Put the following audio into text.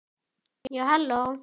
Já, halló!